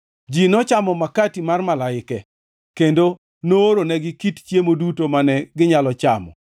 Ji nochamo makati mar malaike, kendo nooronegi kit chiemo duto mane ginyalo chamo.